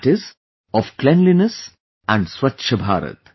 That is of cleanliness and Swachh Bharat